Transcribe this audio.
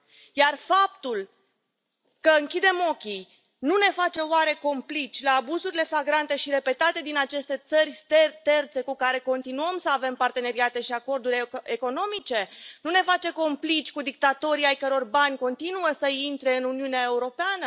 Iar faptul că închidem ochii nu ne face, oare, complici la abuzurile flagrante și repetate din aceste țări terțe cu care continuăm să avem parteneriate și acorduri economice, nu ne face complici cu dictatorii ai căror bani continuă să intre în Uniunea Europeană?